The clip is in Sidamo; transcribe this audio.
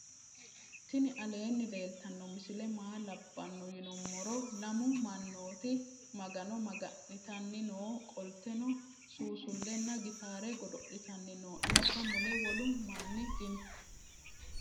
tini alenni leltanoti misile maa labano yinumoro lamu manoti maagano maga'nitani noo qolteno susulena gitare godo'litani noo insa mule wolu maani dino